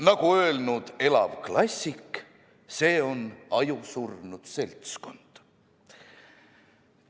Nagu öelnud elav klassik: see on ajusurnud seltskond.